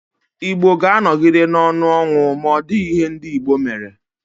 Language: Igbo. Igbo ga-anogide n'onu ọnwụ ma ọdighi ihe ndi Igbo mere.